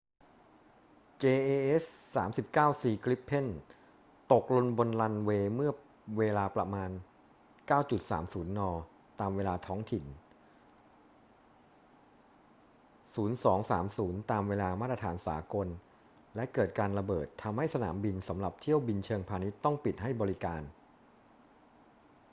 jas 39c gripen ตกลงบนรันเวย์เมื่อเวลาประมาณ 09.30 น. ตามเวลาท้องถิ่น 0230 ตามเวลามาตรฐานสากล และเกิดการระเบิด ทำให้สนามบินสำหรับเที่ยวบินเชิงพาณิชย์ต้องปิดให้บริการ